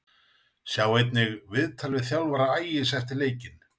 Sjá einnig: Viðtal við þjálfara Ægis eftir leikinn